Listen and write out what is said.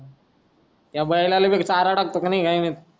त्या बैलाला चारा टाकतो किनाय